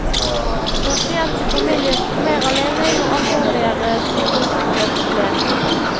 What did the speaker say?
Pasient og familie sto mer alene jo alvorligere sykdomsforløpet ble.